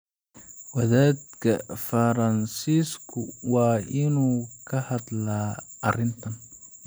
Wadaadka Faransiisku waa inuu ka hadlaa arrintan.